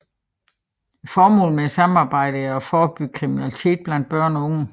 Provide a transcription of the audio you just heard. Formålet med samarbejdet er at forebygge kriminalitet blandt børn og unge